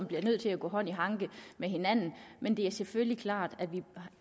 bliver nødt til at gå hånd i hånd men det er selvfølgelig klart at vi